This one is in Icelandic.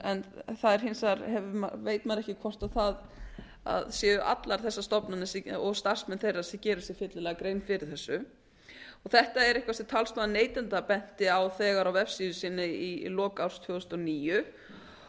en maður veit ekki hvort allar þessar stofnanir og starfsmenn þeirra gera sér fyllilega grein fyrir þessu þetta er eitthvað sem talsmaður neytenda benti á á vefsíðu sinni í lok árs tvö þúsund og níu